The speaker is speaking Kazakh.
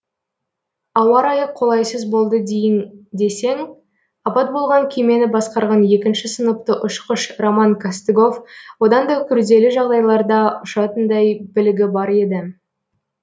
ауа райы қолайсыз болды дейін десең апат болған кемені басқарған екінші сыныпты ұшқыш роман костыгов одан да күрделі жағдайларда ұшатындай білігі бар еді